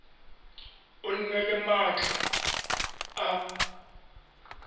o nne le maatla a